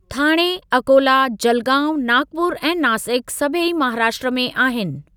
थाणे, अकोला, जलगांउ, नागपुर ऐं नासिक सभई महाराष्ट्र में आहिनि।